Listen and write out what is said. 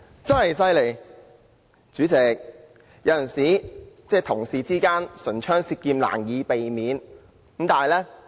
代理主席，有時候同事之間難免會唇槍舌劍。